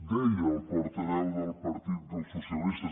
deia el portaveu del partit dels socialistes